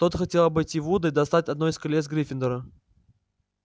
тот хотел обойти вуда и достать одно из колец гриффиндора